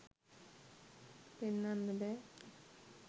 පෙන්නන්න බෑ